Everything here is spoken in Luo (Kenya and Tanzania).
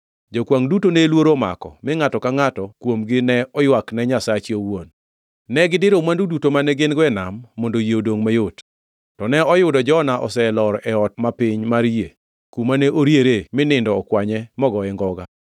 Jokwangʼ duto ne luoro omako mi ngʼato ka ngʼato kuomgi ne oywak ne nyasache owuon. Ne gidiro mwandu duto mane gin-go e nam mondo yie odongʼ mayot. To ne oyudo Jona oselor e ot ma piny mar yie, kuma ne oriere mi nindo okwanye mogoye ngoga.